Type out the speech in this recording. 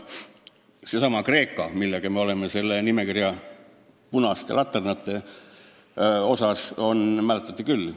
Seesama Kreeka, millega koos me oleme selle nimekirja punased laternad, mäletate küll.